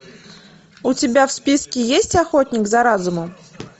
у тебя в списке есть охотник за разумом